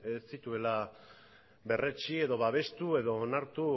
ez zituela berretsi edo babestu edo onartu